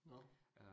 Nåh